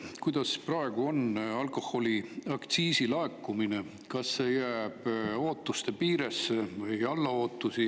Milline on praegu alkoholiaktsiisi laekumine: kas see jääb ootuste piiresse või alla ootuste?